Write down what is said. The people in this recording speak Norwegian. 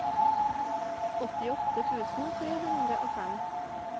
åttiåtte tusen tre hundre og fem